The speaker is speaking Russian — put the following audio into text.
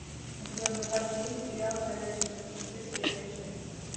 у тебя в запасе есть сериал ходячие мертвецы серия шесть